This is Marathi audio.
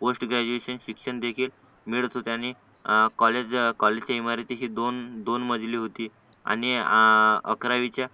पोस्ट ग्रॅज्युएशन शिक्षण देखील मिळत होते आणि कॉलेज कॉलेजच्या इमारती तशी दोन मजली होती आणि अकरावीच्या